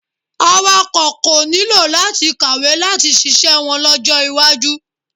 Awakọ̀ kò nílò láti kàwé láti ṣiṣẹ́ wọn lọ́jọ́ iwájú.